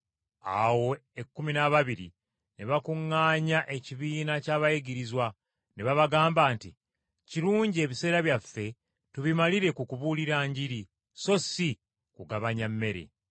Awo ekkumi n’ababiri ne bakuŋŋaanya ekibiina ky’abayigirizwa, ne babagamba nti, “Kirungi ebiseera byaffe tubimalire ku kubuulira Njiri, so si mu kugabanya mmere.